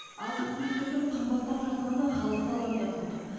азық түліктердің қымбаттап жатқаны халықты алаңдатып отыр